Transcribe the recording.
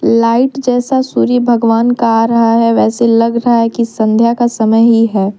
Light जैसा सूर्य भगवान का आ रहा है वैसे लग रहा है कि संध्या का समय ही है।